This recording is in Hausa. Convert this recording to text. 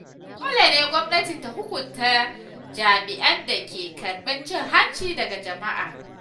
Dole ne gwamnati ta hukunta jami’an da ke karɓar cin hanci daga jama’a.